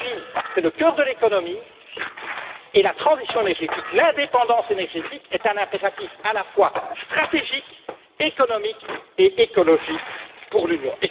L'énergie, c'est le cœur de l'économie, et la transition énergétique, l'indépendance énergétique, est un impératif à la fois stratégique, économique et écologique pour l'Union.